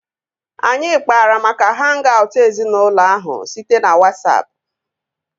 Anyị kpara maka hang-aut ezinaụlọ ahụ site na Wasapụ